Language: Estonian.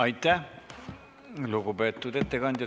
Aitäh, lugupeetud ettekandja!